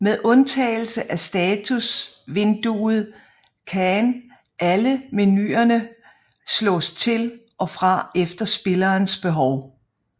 Med undtagelse af status vinduet can alle menuerne slås til og fra efter spillerens behov